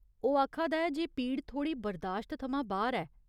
ओह् आखा दा ऐ जे पीड़ थोह्ड़ी बरदाश्त थमां बाह्‌र ऐ।